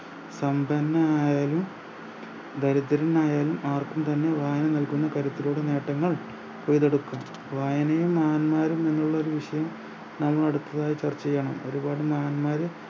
സമ്പന്നനായാലും ദരിദ്രനായാലും ആർക്കും തന്നെ വായന നൽകുന്ന കരുത്തിലൂടെ നേട്ടങ്ങൾ കൊയ്തെടുക്കും വായനയും മഹാന്മാരും എന്നുള്ളൊരു വിഷയം നാം അടുത്തതായി ചർച്ച ചെയ്യണം ഒരുപാട് മഹാന്മാർ